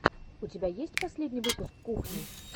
у тебя есть последний выпуск кухни